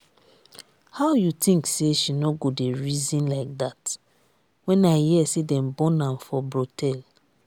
how you think say she no go dey reason like dat? when i hear say dem born am for brothel